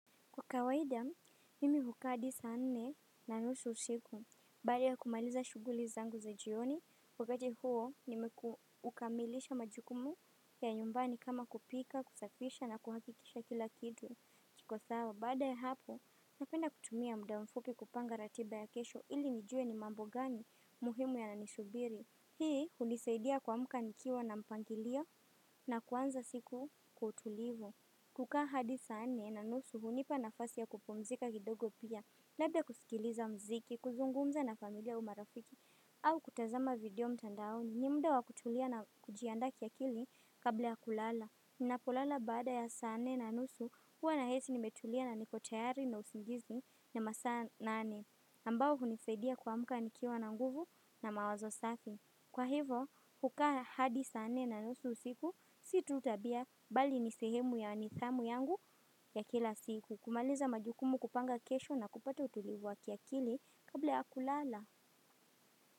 Kwa kawaida, mimi hukaa hadi saa nne na nusu usiku, baada ya kumaliza shuguli zangu za jioni, wakati huo nimeukamilisha majukumu ya nyumbani kama kupika, kusafisha na kuhakikisha kila kitu. Iko sawa, baada ya hapo, napenda kutumia mda mfupi kupanga ratiba ya kesho, ili nijue ni mambo gani muhimu yananisubiri. Hii hulisaidia kuamka nikiwa na mpangilio na kuanza siku kwa utulivu. Kukaa hadi sane na nusu hunipa nafasi ya kupumzika kidogo pia, labda kusikiliza mziki, kuzungumza na familia au marafiki, au kutazama video mtandaoni, ni muda wa kutulia na kujiandaa kiakili kabla ya kulala. Ninapolala baada ya saa nne na nusu, huwa nahisi nimetulia na niko tayari na usingizi na masaa nane, ambayo hunisaidia kuamka nikiwa na nguvu na mawazo safi. Kwa hivo, kukaa hadi sane na nusu usiku, si tu tabia, bali ni sehemu ya nidhamu yangu ya kila siku. Kumaliza majukumu kupanga kesho na kupata utulivu wa kiakili kabla ya kulala.